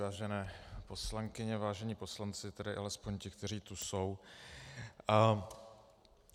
Vážené poslankyně, vážení poslanci, tedy alespoň ti, kteří tu jsou.